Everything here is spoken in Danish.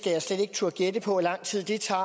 jeg slet ikke turde gætte på hvor lang tid det tager